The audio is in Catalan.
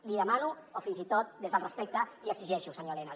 l’hi demano o fins i tot des del respecte l’hi exigeixo senyor elena